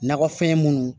Nakɔfɛn minnu